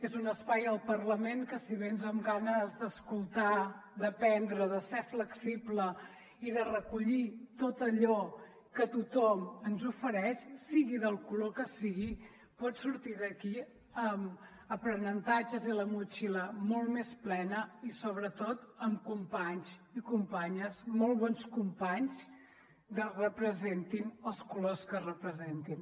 és un espai el parlament que si vens amb ganes d’escoltar d’aprendre de ser flexible i de recollir tot allò que tothom ens ofereix sigui del color que sigui pots sortir d’aquí amb aprenentatges i la motxilla molt més plena i sobretot amb companys i companyes molt bons companys representin els colors que representin